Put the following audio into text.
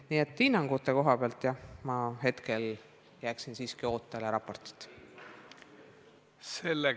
Nii et hinnangute koha pealt jääksin ma hetkel siiski raporti ootele.